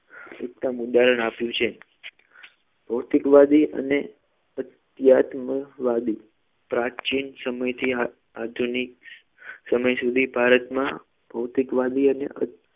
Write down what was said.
ઉત્તમ ઉદાહરણ આપ્યું છે ભૌતિકવાદી અને અધ્યાત્મવાદી પ્રાચીન સમયથી આ આધુનિક સમય સુધી ભારતમાં ભૌતિકવાદી અને